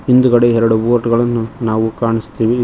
ಹಿಂದ್ಗಡೆ ಎರಡು ಬೋಟ್ ಗಳನ್ನು ನಾವು ಕಾನ್ಸತ್ತಿವೆ.